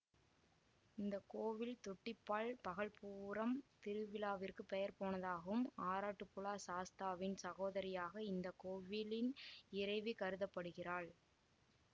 இந்த கோவில் தொட்டிப்பால் பகல்பூரம் திருவிழாவிற்கு பெயர் போனதாகும் ஆறாட்டுபுழா சாஸ்தாவின் சகோதரியாக இந்த கோவிலின் இறைவி கருதப்படுகிறாள்